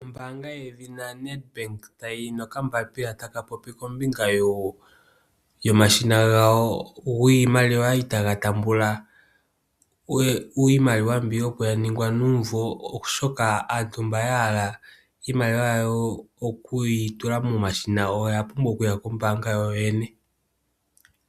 Ombaanga yedhina Nedbank oyina okambapila taka popi kombinga yomashina gayo giimaliwa itaga taamba iimaliwa mbi opo yalongwa nuumvo oshoka antu mba yahala iimaliwa yawo okuyi tula momashina oya pumbwa okuya kombaanga yoyene.